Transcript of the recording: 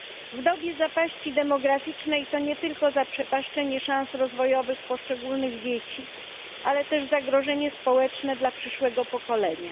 W dobie zapaści demograficznej to nie tylko zaprzepaszczenie szans rozwojowych poszczególnych dzieci, ale też zagrożenie społeczne dla przyszłego pokolenia.